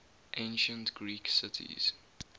ancient greek cities